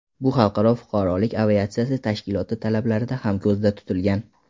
Bu Xalqaro fuqarolik aviatsiyasi tashkiloti talablarida ham ko‘zda tutilgan.